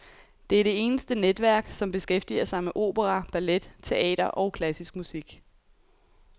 Det er det eneste netværk, som beskæftiger sig med opera, ballet, teater og klassisk musik.